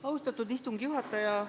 Austatud istungi juhataja!